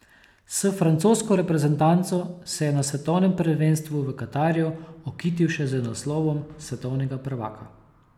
S francosko reprezentanco se je na svetovnem prvenstvu v Katarju okitil še z naslovom svetovnega prvaka.